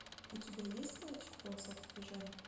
у тебя есть мальчик в полосатой пижаме